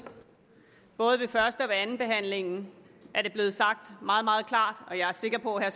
både ved første og andenbehandlingen er det blevet sagt meget meget klart og jeg er sikker på at